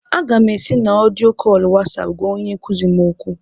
Aga m ési na odiyo kóólu Wasáápu gwá onye nkuzi m okwu